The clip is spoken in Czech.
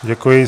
Děkuji.